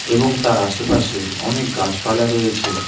এবং তার আশেপাশে অনেক গাছপালা রয়েছে।